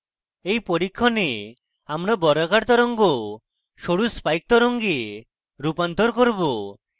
in পরীক্ষণে আমরা বর্গাকার তরঙ্গ সরু spikes তরঙ্গে রূপান্তর করব